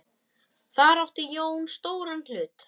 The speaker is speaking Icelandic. Þar átti Jón stóran hlut.